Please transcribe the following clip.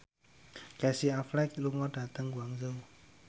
Casey Affleck lunga dhateng Guangzhou